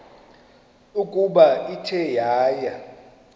ukuba ithe yaya